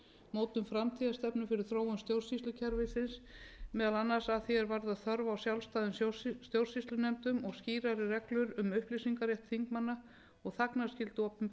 mótun framtíðarstefnu fyrir þróun stjórnsýslukerfisins meðal annars að því er varðar þörf á sjálfstæðum stjórnsýslunefndum og skýrari reglur um upplýsingarétt þingmanna og þagnarskyldu opinberra